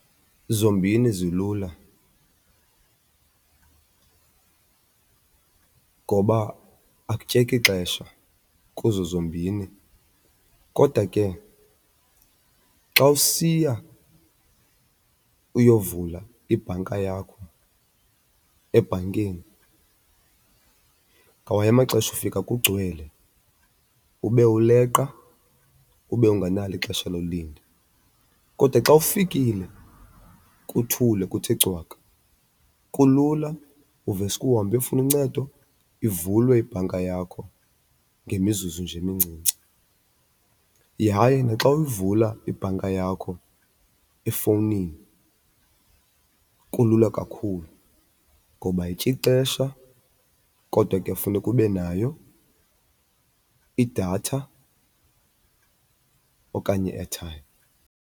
Zombini zilula ngoba akutyeki xesha kuzo zombini. Kodwa ke xa usiya uyovula ibhanka yakho ebhankini ngamanye amaxesha ufika kugcwele ube uleqa, ube ungenalo ixesha lolinda. Kodwa xa ufikile kuthule kuthe cwaka kulula, uveske uhambe uyofuna uncedo ivulwe ibhanka yakho ngemizuzu nje emincinci. Yaye naxa uyivula ibhanka yakho efowunini kulula kakhulu ngoba ayityi xesha kodwa ke funeka ube nayo idatha okanye i-airtime.